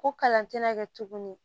Ko kalan tɛna kɛ tuguni